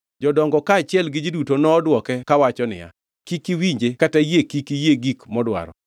Jodongo kaachiel gi ji duto nodwoke kawacho niya, “Kik iwinje kata yie kik iyie gik modwaro.”